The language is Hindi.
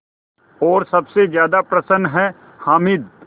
और सबसे ज़्यादा प्रसन्न है हामिद